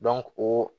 o